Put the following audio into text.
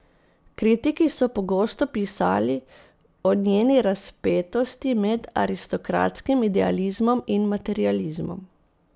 Kritiki so pogosto pisali o njeni razpetosti med aristokratskim idealizmom in materializmom.